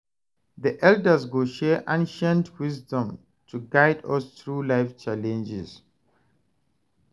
The elders go share ancient wisdom to guide us through life challenges.